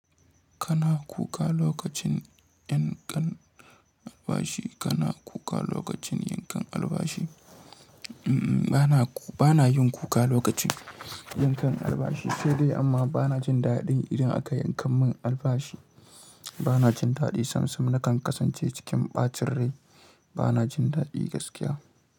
Kana kuka lokacin yankan albashi, kana kuka lokacin yankan albashi? Bana yin kuka lokacin yankan albashi, sai dai amma bana jin daɗin idan aka yanka mun albashi. Bana jin daɗi sam-sam nakan kasance cikin ɓacin rai. Bana jin daɗi gaskiya.